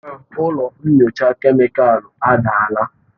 Ụlọ nyocha kemịkalụ adaala.